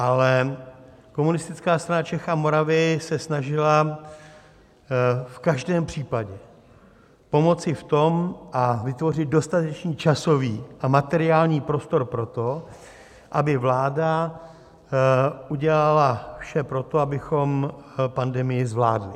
Ale Komunistická strana Čech a Moravy se snažila v každém případě pomoci v tom a vytvořit dostatečný časový a materiální prostor pro to, aby vláda udělala vše pro to, abychom pandemii zvládli.